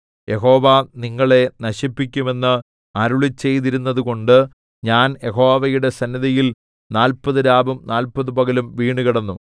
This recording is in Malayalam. യഹോവ നിങ്ങളെ നശിപ്പിക്കുമെന്ന് അരുളിച്ചെയ്തിരുന്നതുകൊണ്ട് ഞാൻ യഹോവയുടെ സന്നിധിയിൽ നാല്പത് രാവും നാല്പത് പകലും വീണുകിടന്നു